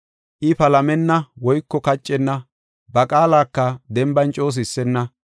I palamenna woyko kaccenna; ba qaalaka denban coo sissenna.